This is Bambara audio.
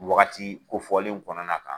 Nin wagati kofɔlenw kɔnɔna kan.